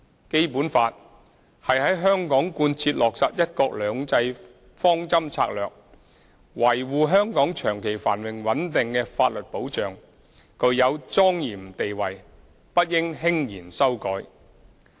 《基本法》是在香港貫徹落實"一國兩制"方針政策、維護香港長期繁榮穩定的法律保障，具有莊嚴地位，不應輕言修改。